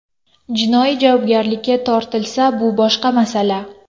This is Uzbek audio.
Jinoiy javobgarlikka tortilsa bu boshqa masala.